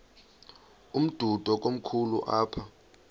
umdudo komkhulu apha